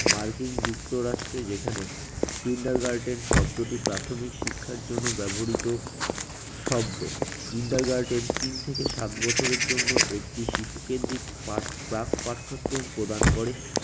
মার্কিন যুক্তরাষ্ট্রে যেখানে kindergarten শব্দটি প্রাথমিক শিক্ষার জন্য ব্যবহৃত শব্দ, kindergarten তিন থেকে সাত বছরের জন্য একটি শিশু কেন্দ্রিক পাঠ প্রাক পাঠক্রম প্রদান করে।